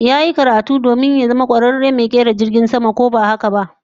Yayi karatu domin ya zama kwararen mai kera jirgin sama ko ba haka ba?